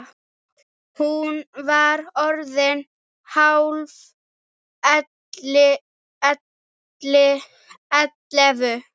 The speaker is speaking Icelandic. Hún var orðin hálf ellefu.